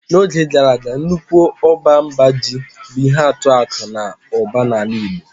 N'oge gara aga nnukwu ọba mba ji bụ ihe atụ akụ na ụba na ala igbo.